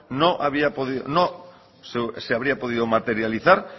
no se habría podido materializar